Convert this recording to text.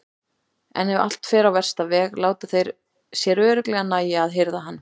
En ef allt fer á versta veg láta þeir sér örugglega nægja að hirða hann.